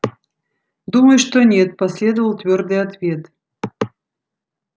думаю что нет последовал твёрдый ответ